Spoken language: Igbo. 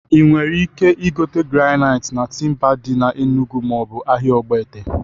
Ị nwere ike igote granait na Timba dị na Enugu maọbụ ahịa Ogbete?